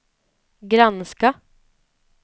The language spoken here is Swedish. granska